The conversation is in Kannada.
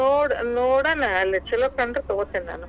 ಇಲ್ಲಾ ನೋಡ್~ ನೋಡೋಣ ಅಲ್ಲೇ ಛಲೋ ಕಂಡರ ತಗೋತಿನ್ ನಾನು.